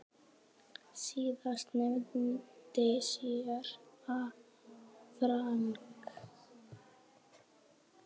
Síðast nefndi séra Frank